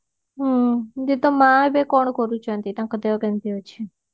ହୁଁ ଏବେ ତା ମା ଏବେ କଣ କରୁଛନ୍ତି ତାଙ୍କ ଦେହ କେମିତେ ଅଛି